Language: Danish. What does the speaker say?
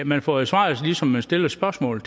man får jo svar som man stiller spørgsmål